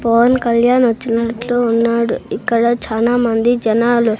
పవన్ కళ్యాణ్ వచ్చినట్లు ఉన్నాడు ఇక్కడ చానామంది జనాలు.